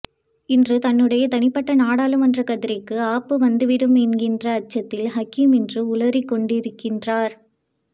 இன்று தன்னுடைய தனிப்பட்ட நாடாளுமன்ற கதிரைக்கு ஆப்பு வந்து விடும் என்கின்ற அச்சத்தில் ஹக்கீம் இன்று உளறிக்கொண்டிருக்கின்றார்